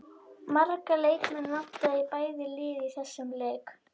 Marga leikmenn vantaði í bæði lið í þessum lek.